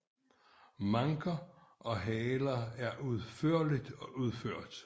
Manker og haler er udførligt udført